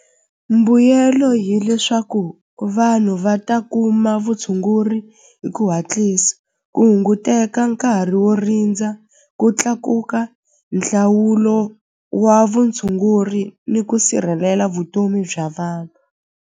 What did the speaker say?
Mbuyelo hileswaku vanhu va ta kuma vutshunguri hi ku hatlisa ku hunguteka nkarhi wo rindza ku tlakuka nhlawulo wa vutshunguri ni ku sirhelela vutomi bya vanhu.